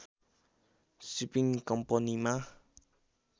shipping कम्पनीमा